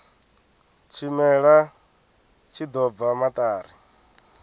tshimela tshi ḓo bva maṱari